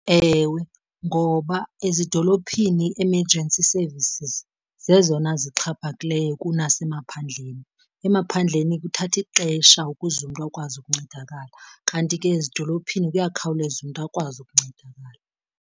Ewe, ngoba ezidolophini i-emergency services zezona zixhaphakileyo kunasemaphandleni. Emaphandleni kuthatha ixesha ukuze umntu akwazi ukuncedakala kanti ke ezidolophini kuyakhawuleza umntu akwazi ukuncedakala.